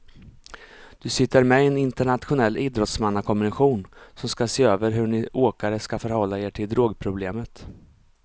Du sitter med i en internationell idrottsmannakommission som ska se över hur ni åkare ska förhålla er till drogproblemet.